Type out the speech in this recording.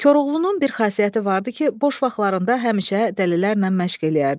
Koroğlunun bir xasiyyəti vardı ki, boş vaxtlarında həmişə dəlilərlə məşq eləyərdi.